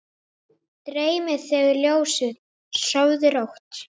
Dreymi þig ljósið, sofðu rótt.